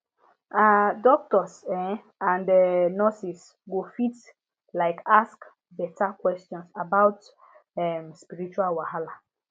ah doctors um and um nurses go fit like ask beta questions about dem um spiritual wahala